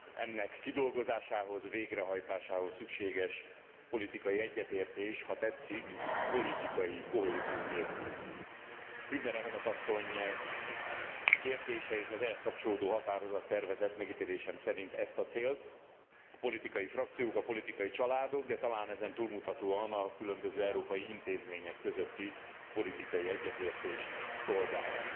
Ennek kidolgozásához, végrehajtásához szükséges politikai egyetértés, ha tetszik, politikai kohézió nélkül Hübner elnök asszony kérdései és az ehhez kapcsolódó határozattervezet megítélésem szerint ezt, a célt a politikai frakciók, a politikai családok, de talán ezen túlmutatóan a különböző európai intézmények közötti politikai egyetértést szolgálja.